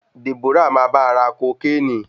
Deborah máa bá ra kokéènì.